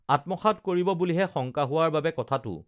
আত্মসাৎ কৰিব বুলিহে শংকা হোৱাৰ বাবে কথাটো